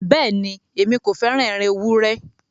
Bẹ́ẹ̀ni, Èmi kò fẹ́ràn ẹran èwùré.